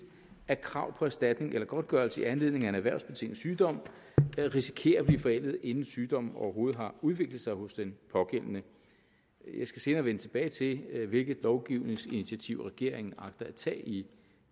at krav på erstatning eller godtgørelse i anledning af en erhvervsbetinget sygdom risikerer at blive forældet inden sygdommen overhovedet har udviklet sig hos den pågældende jeg skal senere vende tilbage til hvilke lovgivningsinitiativer regeringen agter at tage i